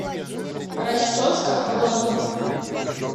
расческа бронь